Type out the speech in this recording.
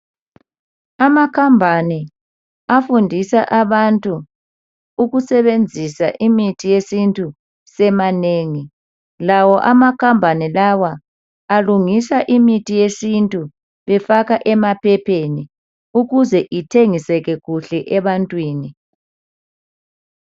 Amakhampani afundisa abantu ukusebenzisa imithi yesintu semanengi lawo amakhampani lawa alungisa imithi yesintu efaka emaphepheni kuze kuthengiseke kuhle ebantwini.